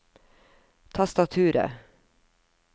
tastaturet